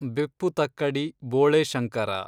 ಬೆಪ್ಪುತಕ್ಕಡಿ ಬೋಳೆ ಶಂಕರ